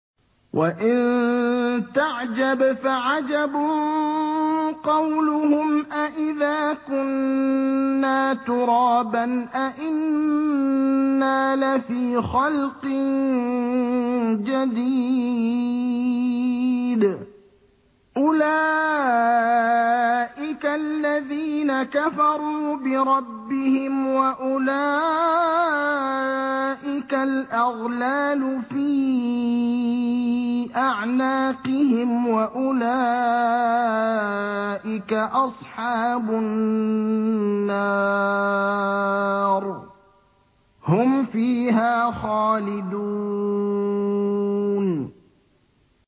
۞ وَإِن تَعْجَبْ فَعَجَبٌ قَوْلُهُمْ أَإِذَا كُنَّا تُرَابًا أَإِنَّا لَفِي خَلْقٍ جَدِيدٍ ۗ أُولَٰئِكَ الَّذِينَ كَفَرُوا بِرَبِّهِمْ ۖ وَأُولَٰئِكَ الْأَغْلَالُ فِي أَعْنَاقِهِمْ ۖ وَأُولَٰئِكَ أَصْحَابُ النَّارِ ۖ هُمْ فِيهَا خَالِدُونَ